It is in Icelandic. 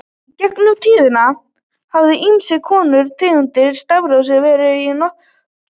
Í gegnum tíðina hafa ýmiss konar tegundir stafrófs verið í notkun.